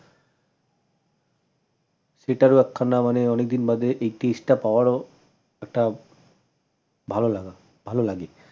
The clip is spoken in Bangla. সেটারও একখানা মানে অনেকদিন বাদে এই test টা পাওয়ারও একটা ভাল লাগা ভাল লাগে ।